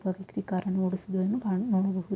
ಒಬ್ಬ ವ್ಯಕ್ತಿ ಕಾರನ್ನು ಓಡಿಸುವುದನ್ನು ನಾವು ನೋಡಬಹು --